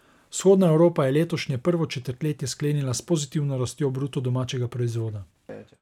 Vzhodna Evropa je letošnje prvo četrtletje sklenila s pozitivno rastjo bruto domačega proizvoda.